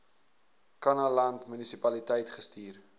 kannaland munisipaliteit gestuur